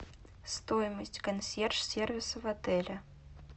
стоимость консьерж сервиса в отеле